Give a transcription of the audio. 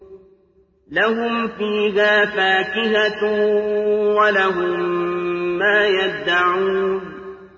لَهُمْ فِيهَا فَاكِهَةٌ وَلَهُم مَّا يَدَّعُونَ